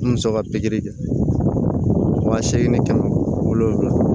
N muso ka pikiri kɛ wa seegin ni kɛmɛ wolonfila